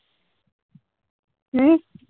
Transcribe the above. ਹਮ